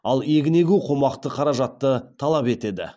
ал егін егу қомақты қаражатты талап етеді